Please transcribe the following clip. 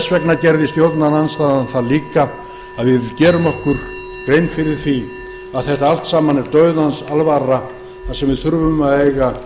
sverð okkar stjórnarandstaðan gerir sér grein fyrir því að þetta er dauðans alvara við þurfum að eiga